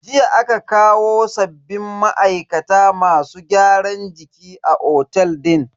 Jiya aka kawo sabbin ma'aikata masu gyaran jiki a otel din.